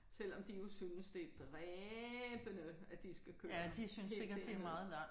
Selvom de jo synes det er dræbende at de skal køre helt derud